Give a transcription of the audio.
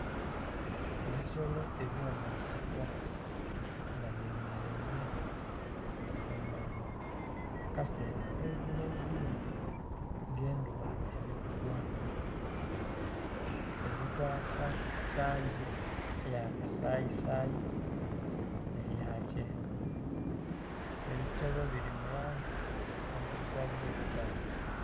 Ebisolo eby'omunsiko nga byemeleile kumbali akasera ak'eiguloigulo nga endhuba eli kugwa, eli kwaka langi eya kasayisayi nh'eya kyenvu. Ebisolo bili mu langi endhilugavuilugavu.